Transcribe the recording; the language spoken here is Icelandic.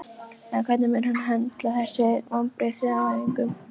En hvernig mun hann höndla þessi vonbrigði á æfingum?